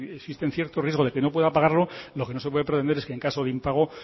existen ciertos riesgos de que no pueda pagarlo lo que no se puede pretender es que en caso de impago